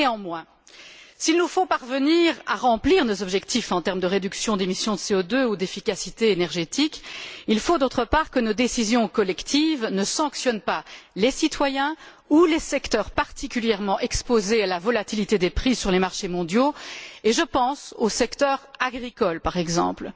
Néanmoins, s'il nous faut parvenir à remplir nos objectifs en termes de réduction d'émissions de CO2 ou d'efficacité énergétique, il faut, d'autre part que nos décisions collectives ne sanctionnent pas les citoyens ou les secteurs particulièrement exposés à la volatilité des prix sur les marchés mondiaux, et je pense au secteur agricole, par exemple.